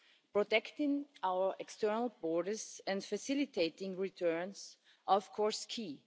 Protecting our external borders and facilitating returns are of course key.